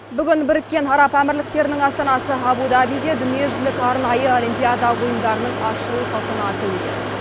бүгін біріккен араб әмірліктерінің астанасы абу дабиде дүниежүзілік арнайы олимпиада ойындарының ашылу салтанаты өтеді